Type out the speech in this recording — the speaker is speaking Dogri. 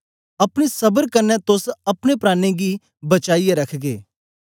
अपनी स्बर कन्ने तोस अपने प्राणें गी बचाईयै रखगे